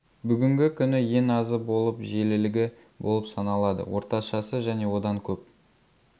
бүгінгі күні ең азы болып жиілілігі болып саналады орташасы және одан көп